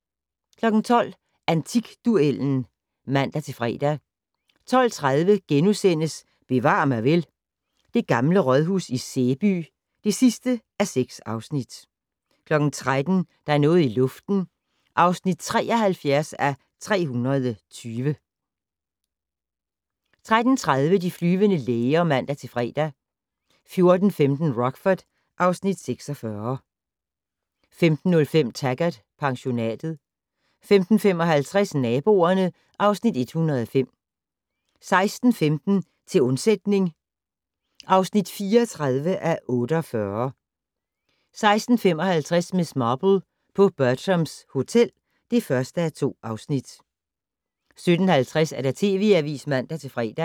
12:00: Antikduellen (man-fre) 12:30: Bevar mig vel: Det gamle rådhus i Sæby (6:6)* 13:00: Der er noget i luften (73:320) 13:30: De flyvende læger (man-fre) 14:15: Rockford (Afs. 46) 15:05: Taggart: Pensionatet 15:55: Naboerne (Afs. 105) 16:15: Til undsætning (34:48) 16:55: Miss Marple: På Bertram's Hotel (1:2) 17:50: TV Avisen (man-fre)